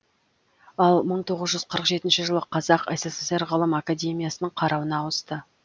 ал мың тоғыз жүз қырық жетінші жылы қазақ ссср ғылым академиясының қарауына ауысты